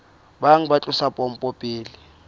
bang ba tlosa pompo pele